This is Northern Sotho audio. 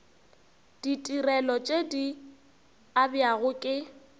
ditirelo tše di abjago ke